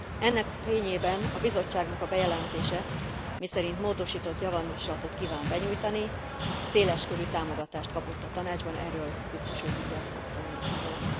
Ennek fényében a Bizottságnak a bejelentése, miszerint módosított javaslatot kíván benyújtani, széles körű támogatást kapott a Tanácsban, erről biztos úr mindjárt fog szólni, gondolom.